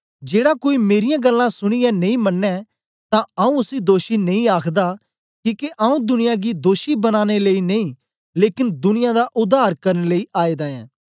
जेड़ा कोई मेरीयां गल्लां सुनीयै नेई मनें तां आऊँ उसी दोषी नेई आखदा किके आऊँ दुनिया गी दोषी बनानें लेई नेई लेकन दुनिया दा उद्धार करन लेई आएदा ऐं